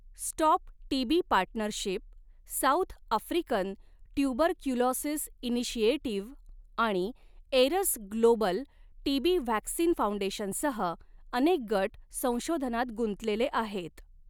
Stop TB Partnership, South African Tuberculosis Initiative आणि Aeras Global TB Vaccine फाउंडेशनसह अनेक गट संशोधनात गुंतलेले आहेत.